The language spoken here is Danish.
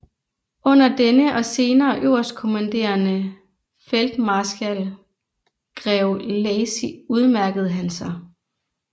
Under denne og senere øverstkommanderende Feltmarskal grev Lacy udmærkede han sig